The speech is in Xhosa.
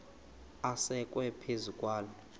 asekwe phezu kwaloo